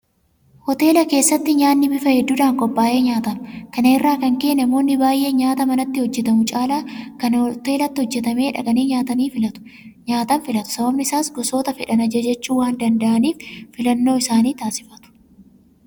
Hoteela keessatti nyaanni bifa hedduudhaan qophaa'ee nyaatama. Kana irraa kan ka'e namoonni baay'een nyaata manatti hojjetamu caala kan hoteelatti hojjetamee dhaqanii nyaatan filatu. Sababni isaas gosoota fedhan ajajachuu waandanda'aniif filannoo isaanii taasifatu.